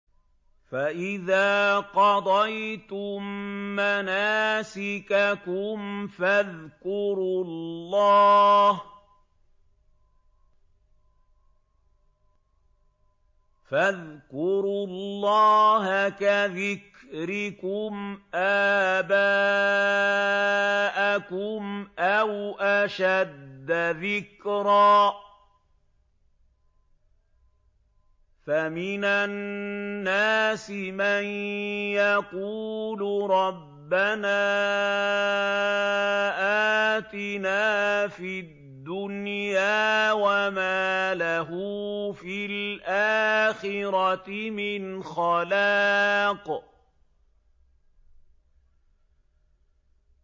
فَإِذَا قَضَيْتُم مَّنَاسِكَكُمْ فَاذْكُرُوا اللَّهَ كَذِكْرِكُمْ آبَاءَكُمْ أَوْ أَشَدَّ ذِكْرًا ۗ فَمِنَ النَّاسِ مَن يَقُولُ رَبَّنَا آتِنَا فِي الدُّنْيَا وَمَا لَهُ فِي الْآخِرَةِ مِنْ خَلَاقٍ